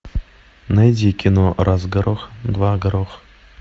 найди кино раз горох два горох